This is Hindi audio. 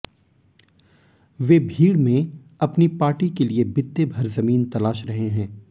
वे भीड़ में अपनी पार्टी के लिए बित्ते भर ज़मीन तलाश रहे हैं